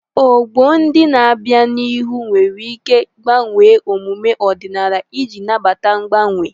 Ọgbọ ndị na-abịa n'ihu nwere ike gbanwee emume ọdịnala iji nabata mgbanwe.